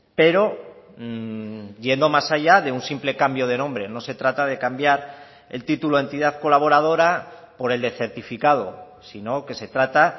pero yendo más allá de un simple cambio de nombre no se trata de cambiar el título entidad colaboradora por el de certificado si no que se trata